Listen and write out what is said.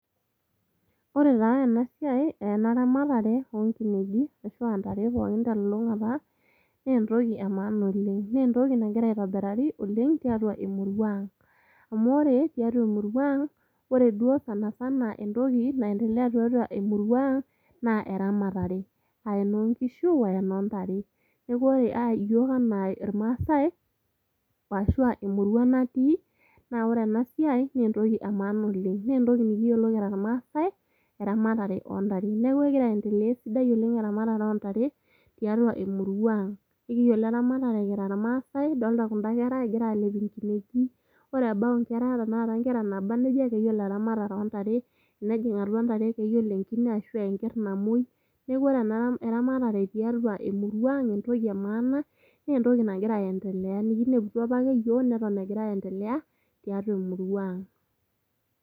Ore taa ena siai ena ramatare oonkineji ashuaa ntare pookin telulungata naa entoki emaana oleng. Naa entoki nagira aitobirari oleng tiatua emurua ang. Amu ore tiatua emurua ang , ore duoo sanasana entoki naendelea tiatua emurua ang naa eramatare , aa enoonkishu aa enoontare. Niaku ore iyiook anaa irmaasae ashuaa emurua natii naa ore ena siai naa entoki emaana oleng. Naa entoki nikiyiolo anaa irmaasae eramatare oontare .Niaku egira aendelea esidai eramtare ontare tiatua emurua ang ,amu ekiyiolo eramatare kira irmaase ,idolta kunda kera , egira alep nkineji. Ore ebau inkera ,ore tenakata inkera naba nejia keyiolo eramatare oontare .Tenejing atua ntare keyiolo enkine ashuaa enker namwoi. Niaku ore ena ramatare tiatua emurua ang naa entoki emaana naa entoki nagira aendelea, nikineputua apake iyiook neton egira aendelea tiatua emurua ang.